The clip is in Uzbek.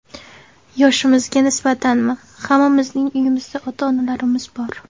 Yoshimizga nisbatanmi, hammamizning uyimizda ota-onalarimiz bor.